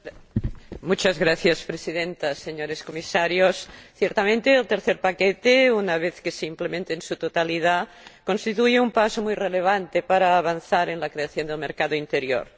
Señora Presidenta, señores Comisarios, ciertamente el tercer paquete, una vez que se implemente en su totalidad, constituye un paso muy relevante para avanzar en la creación de un mercado interior.